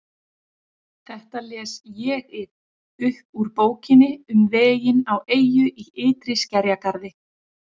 Þetta les ÉG-ið upp úr Bókinni um veginn á eyju í ytri skerjagarði